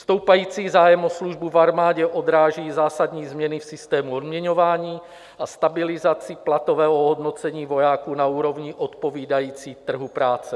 Stoupající zájem o službu v armádě odráží zásadní změny v systému odměňování a stabilizaci platového ohodnocení vojáků na úrovni odpovídající trhu práce.